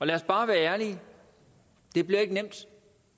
lad os bare være ærlige det bliver ikke nemt